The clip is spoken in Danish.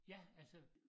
Ja altså